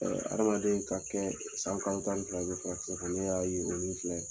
Ɛɛ adamaden ka kɛ san kalo tan ni fila i be furakisɛ kan, ne y'a ye o min filɛ